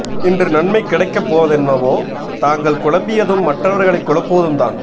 இன்று நன்மை கிடைக்கப் போவதென்னவோ தாங்கள் குழம்பியதும் மற்றவர்களைக் குழப்புவதும் தான்